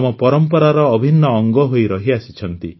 ଆମ ପରମ୍ପରାର ଅଭିନ୍ନ ଅଙ୍ଗ ହୋଇ ରହିଆସିଛନ୍ତି